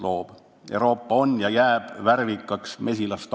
Euroopa on ja jääb värvikaks mesilastaruks.